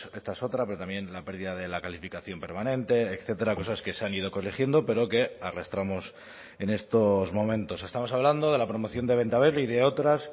esta es otra pero también la pérdida de la calificación permanente etcétera cosas que se han ido corrigiendo pero que arrastramos en estos momentos estamos hablando de la promoción de bentaberri y de otras